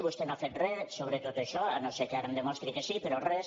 vostè no ha fet res sobre tot això si no és que ara em demostri que sí però res